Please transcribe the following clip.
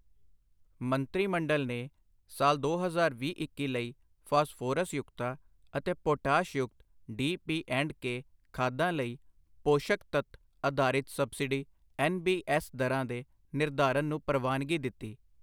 ਮੰਤਰੀ ਮੰਡਲ ਨੇ ਸਾਲ ਦੋ ਹਜ਼ਾਰ ਵੀਹ-ਇੱਕੀ ਲਈ ਫਾਸਫੋਰਸ ਯੁਕਤਾ ਅਤੇ ਪੋਟਾਸ਼ ਯੁਕਤ ਡੀ ਪੀ ਐਂਡ ਕੇ ਖਾਦਾਂ ਲਈ ਪੋਸ਼ਕ ਤੱਤ ਅਧਾਰਿਤ ਸਬਸਿਡੀ ਐੱਨ ਬੀ ਐੱਸ ਦਰਾਂ ਦੇ ਨਿਰਧਾਰਨ ਨੂੰ ਪ੍ਰਵਾਨਗੀ ਦਿੱਤੀ